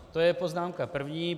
To je poznámka první.